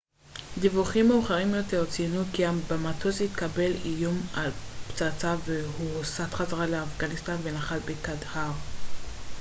דיווחים מאוחרים יותר ציינו כי במטוס התקבל איום על פצצה והוא הוסט חזרה לאפגניסטן ונחת בקנדהאר